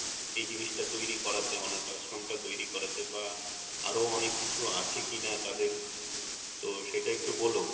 এই জিনিস টা তৈরি করা তে অনাথ আশ্রম টা তৈরি করাতে বা আরো অনেক কিছু আছে কিনা তাদের তো সেটা একটু বোলো।